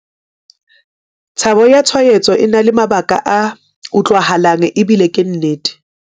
Tshabo ya tshwaetso e na le mabaka a utlwahalang ebile ke nnete.